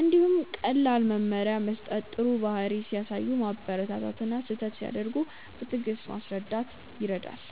እንዲሁም ቀላል መመሪያ መስጠት ጥሩ ባህሪ ሲያሳዩ ማበረታታት እና ስህተት ሲያደርጉ በትዕግስት ማስረዳት ይረዳል።